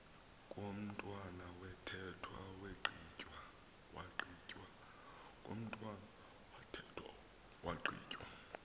komntwana wathethwa wagqitywa